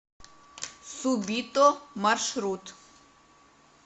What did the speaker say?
субито маршрут